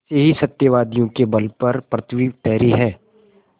ऐसे ही सत्यवादियों के बल पर पृथ्वी ठहरी है